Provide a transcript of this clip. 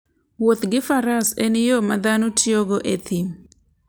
Wuoth gi faras en yo ma dhano tiyogo e thim.